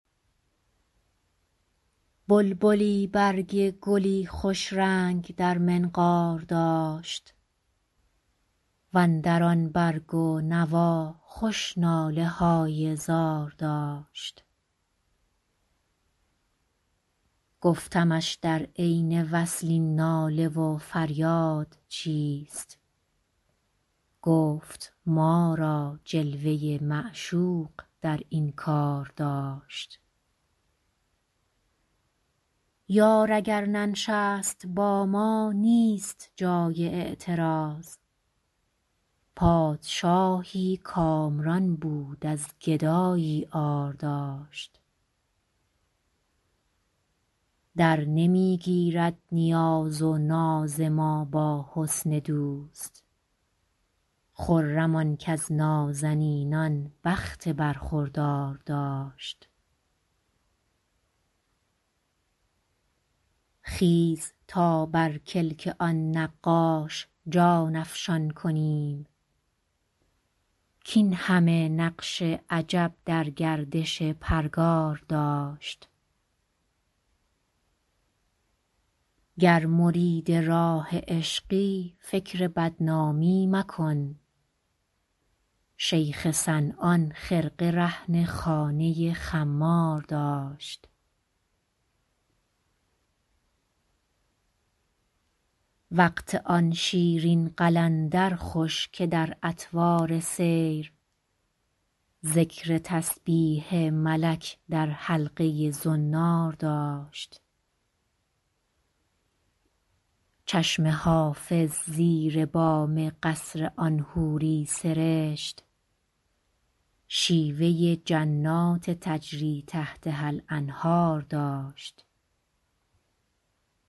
بلبلی برگ گلی خوش رنگ در منقار داشت و اندر آن برگ و نوا خوش ناله های زار داشت گفتمش در عین وصل این ناله و فریاد چیست گفت ما را جلوه ی معشوق در این کار داشت یار اگر ننشست با ما نیست جای اعتراض پادشاهی کامران بود از گدایی عار داشت درنمی گیرد نیاز و ناز ما با حسن دوست خرم آن کز نازنینان بخت برخوردار داشت خیز تا بر کلک آن نقاش جان افشان کنیم کاین همه نقش عجب در گردش پرگار داشت گر مرید راه عشقی فکر بدنامی مکن شیخ صنعان خرقه رهن خانه خمار داشت وقت آن شیرین قلندر خوش که در اطوار سیر ذکر تسبیح ملک در حلقه ی زنار داشت چشم حافظ زیر بام قصر آن حوری سرشت شیوه ی جنات تجری تحتها الانهار داشت